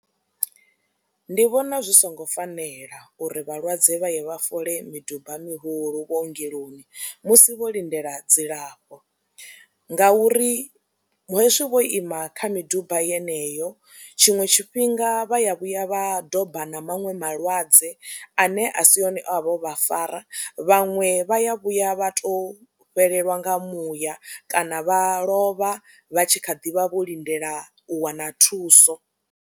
Ndi vhona zwi songo fanela uri vhalwadze vha ye vha fola miduba mihulu vhuongeloni musi vho lindela dzilafho ngauri hezwi vho ima kha miduba yeneyo tshiṅwe tshifhinga vha ya vhuya vha domba na maṅwe malwadze ane a si one o vha o vha fara, vhaṅwe vha ya vhuya vha tou fhelelwa nga muya kana vha lovha vha tshi kha ḓi vha vho lindela u wana thuso.